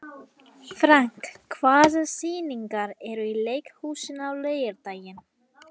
Frank, hvaða sýningar eru í leikhúsinu á laugardaginn?